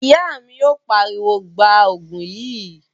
Ìyá mi yóò pariwo, 'Gbaa Ògùn yìí!'